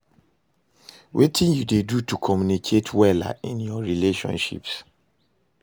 Wetin you dey do to communicate wella in your relationships?